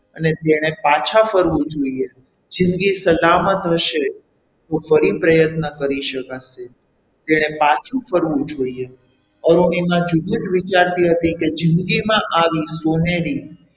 અને તેણે પાછા ફરવું જોઈએ જિંદગી સલામત હશે તો ફરી પ્રયત્ન કરી શકાશે તેણે પાછું ફરવું જોઈએ અરુણિમા જુદું જ વિચારતી હતી કે જિંદગીમાં આવી સોનેરી,